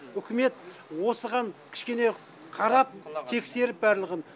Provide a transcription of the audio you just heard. үкімет осыған кішкене қарап тексеріп барлығын